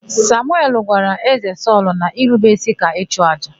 Samuel gwara Ézē Sọlụ na irube ísí ka ịchụàjà.